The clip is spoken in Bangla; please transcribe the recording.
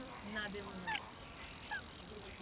না দেব না